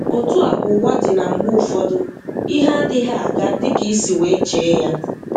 Otu a ka ụwa dị na mgbe ụfọdụ ihe adịghị aga dị ka i si wee chee ya.